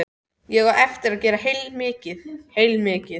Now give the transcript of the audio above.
Ég á eftir að gera heilmikið, heilmikið.